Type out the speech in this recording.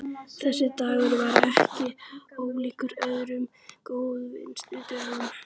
Þessi dagur er ekki ólíkur öðrum góðviðrisdögum.